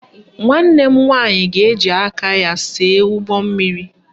Nwanne m nwaanyị ga-eji aka ya see ụgbọmmiri